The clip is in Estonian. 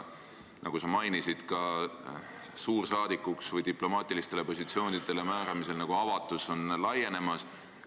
Nagu sa mainisid, suursaadikuks või diplomaatilistele positsioonidele määramisel on avatus nagu laienemas.